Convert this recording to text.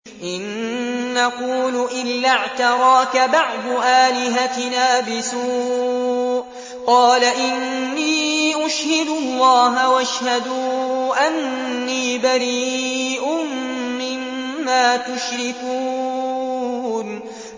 إِن نَّقُولُ إِلَّا اعْتَرَاكَ بَعْضُ آلِهَتِنَا بِسُوءٍ ۗ قَالَ إِنِّي أُشْهِدُ اللَّهَ وَاشْهَدُوا أَنِّي بَرِيءٌ مِّمَّا تُشْرِكُونَ